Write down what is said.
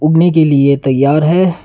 उणने के लिए तैयार है।